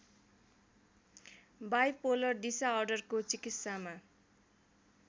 bipolar डिसाअर्डरको चिकित्सामा